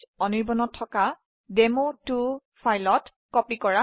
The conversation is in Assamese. এটি ফাইলটোকে ডেমো2 ত কপি কৰে